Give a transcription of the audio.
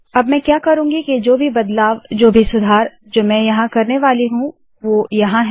अब मैं क्या करुँगी के जो भी बदलाव जो भी सुधार जो मैं यहाँ करने वाली हूँ वो यहाँ है